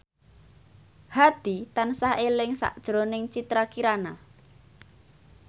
Hadi tansah eling sakjroning Citra Kirana